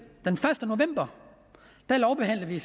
den første november lovbehandlede vi